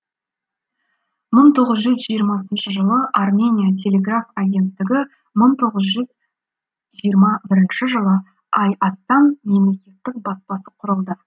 мың тоғыз жүз жиырмасыншы жылы армения телеграф агенттігі мың тоғыз жүз жиырма бірінші жылы айастан мемлекеттік баспасы құрылды